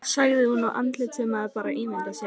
Þar segir að þetta hafi verið í blaðaviðtali við Tímann.